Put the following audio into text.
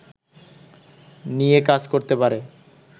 নিয়ে কাজ করতে পারে